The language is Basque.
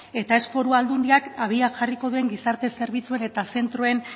eta ez foru aldundiak abian jarriko duen gizarte zerbitzuen eta zentroen